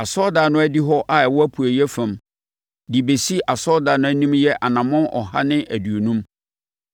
Asɔredan no adihɔ a ɛwɔ apueeɛ fam, de bɛsi asɔredan no anim yɛ anammɔn ɔha ne aduonum.